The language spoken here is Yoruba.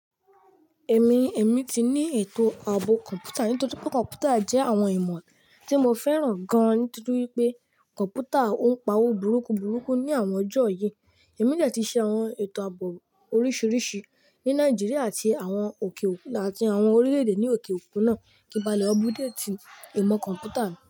Ẹ̀mi, èmi ti ní ètò ààbò kọ̀ǹpútà nítorí pé kọ̀ǹpútà jẹ́ àwọn ìmọ̀ tí mo fẹ́ràn gan nítorí pé kọ̀ǹpútà ń pa'wó burúkú burúkú ní àwọn ọjọ́ yìí. Ẹ̀mi de ti ṣe àwọn ètò ààbò oríṣiríṣi ní Nàìjíríà àti àwọn òkè òkun àti àwọn orílẹ̀-èdè ní òkè òkun náà kíbalẹ̀, obudati ìmọ̀ kọ̀ǹpútà mi.